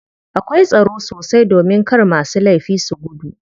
Akwai tsaro sosai domin kar masu laifi su gudu.